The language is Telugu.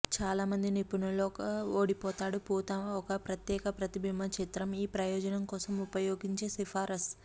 చాలా మంది నిపుణులు ఒక ఓడిపోతాడు పూత ఒక ప్రత్యేక ప్రతిబింబ చిత్రం ఈ ప్రయోజనం కోసం ఉపయోగించి సిఫార్సు